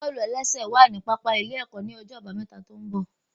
Bọ́ọ̀lù-ẹlẹ́sẹ̀ wà ní pápá ilé ẹ̀kọ́ ní ọjọ́ àbámẹ́ta tó ń bọ̀